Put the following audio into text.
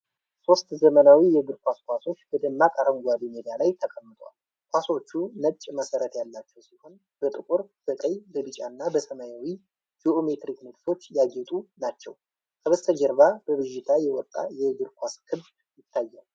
ሶስት ዘመናዊ የእግር ኳስ ኳሶች በደማቅ አረንጓዴ ሜዳ ላይ ተቀምጠዋል። ኳሶቹ ነጭ መሰረት ያላቸው ሲሆን፣ በጥቁር፣ በቀይ፣ በቢጫና በሰማያዊ ጂኦሜትሪክ ንድፎች ያጌጡ ናቸው። ከበስተጀርባ በብዥታ የወጣ የእግር ኳስ ግብ ይታያል።